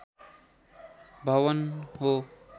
भवन हो